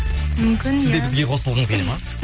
мүмкін иә сіз де бізге қосылғыңыз келеді ма